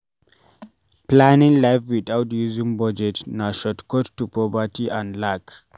Planning life without using budget na shortcut to poverty and lack